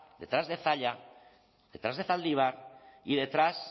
detrás de zalla detrás de zaldívar y detrás